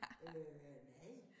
Øh nej